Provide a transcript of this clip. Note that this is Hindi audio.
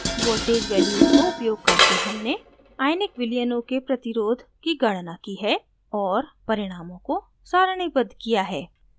voltage values को उपयोग करके हमने ionic विलयनों के प्रतिरोध की गणना की है और परिणामों को सारणीबद्ध किया है